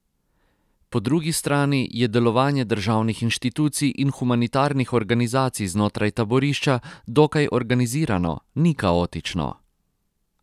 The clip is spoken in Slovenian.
Po drugi strani je delovanje državnih inštitucij in humanitarnih organizacij znotraj taborišča dokaj organizirano, ni kaotično.